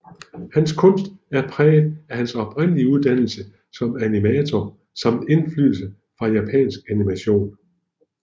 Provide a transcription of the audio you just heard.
Hans kunst er præget af hans oprindelige uddannelse som animator samt indflydelse fra japansk animation